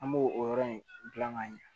An b'o o yɔrɔ in gilan ka ɲɛ